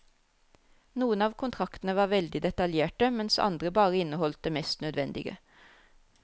Noen av kontraktene var veldig detaljerte mens andre bare inneholdt det mest nødvendige.